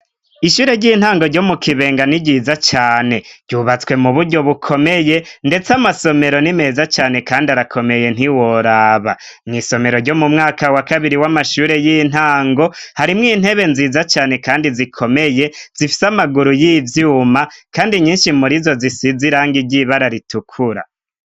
Ishure ry'intango ryo mu kibenga ni ryiza cane ryubatswe mu buryo bukomeye, ndetse amasomero ni meza cane, kandi arakomeye ntiworaba mw'isomero ryo mu mwaka wa kabiri w'amashure y'intango harimwo intebe nziza cane, kandi zikomeye zifise amaguru y'ivyuma, kandi nyinshi muri zo zisiziranga iryibae raritukura.